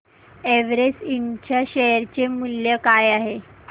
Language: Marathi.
एव्हरेस्ट इंड च्या शेअर चे मूल्य काय आहे